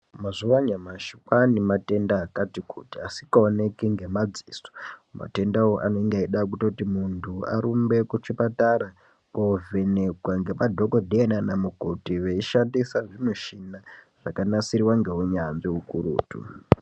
Mazuwa anyamashi kwane matenda akaita kuti asikaonekwi ngemadziso matendawo anenge eida kutoti muntu arumbe kuchipatara kozvenekwa ngemadhokodheya nana mukoti veshandisa zvimuchina zvakanasirwa ngeunyanzvi ukurutu.